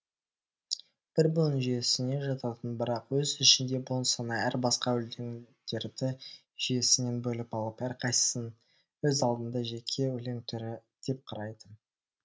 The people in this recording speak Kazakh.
бір буын жүйесіне жататын бірақ өз ішінде буын саны әр басқа өлеңдерді жүйесінен бөліп алып әрқайсысын өз алдына жеке өлең түрі деп қарайды